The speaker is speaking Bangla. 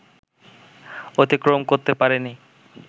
অতিক্রম করতে পারেনি